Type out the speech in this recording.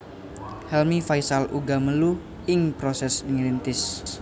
Helmy Faishal uga melu ing proses ngrintis